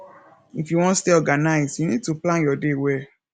if you wan stay organized you need to plan your day well